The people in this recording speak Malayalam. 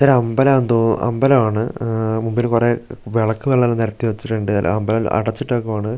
ഇതൊരമ്പലാന്ന് തോ അമ്പലവാണ് ഉം മുമ്പില് കൊറേ അഹ് വെളക്കുകളെല്ലാം നെരത്തി വെച്ചിട്ടൊണ്ട് അമ്പലം അടച്ചിട്ടേക്കുവാണ്--